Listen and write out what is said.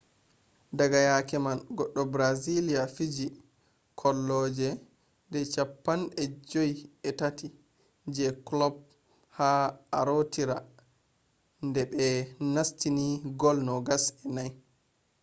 daga yake man goɗɗo brazilia fiiji kolloji de 53 je kulob ha arootira de be nastini gol 24